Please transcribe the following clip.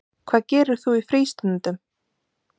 Hvað gerir þú í frístundum?